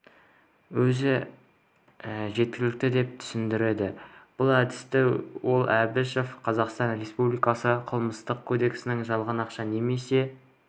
өзі жеткілікті деп түсіндірді бұл әдісті ол әбішева қазақстан республикасы қылмыстық кодексінің жалған ақша немесе